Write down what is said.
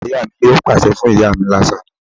Bàbá ìyá mi yóò pàṣẹ fún ìyá mi lásán ni